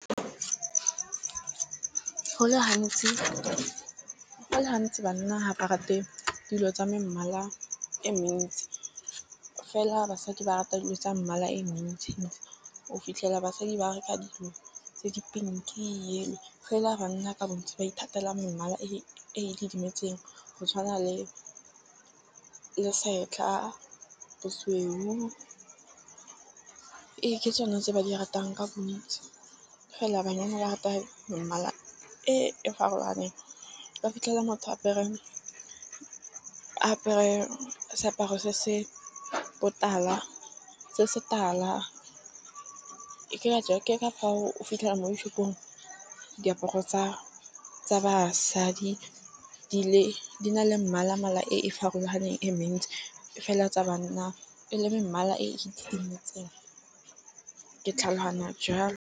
Go le gantsi banna ga ba rate dilo tsa mmala e mentsi, fela basadi ba rata dilo tsa mmala e mentsi ntsi. O fitlhela basadi ba reka dilo tse di pink-i fela banna ka bontsi ba ithatela mmala e e didimetseng. Go tshwana le setlha, bosweu. Ee, ke tsone tse ba di ratang ka bontsi. Fela banyana rata ko mmala e farologaneng ka fitlhela motho apere apere seaparo se botala se se tala ke ka jewa ke ka fao o fitlhela mo dishopong diaparo tsa tsa basadi di le di na le mmala mala e farologaneng e mentsi fela tsa banna e le mmala e itlhametsweng ke tlhaloganyana jalo.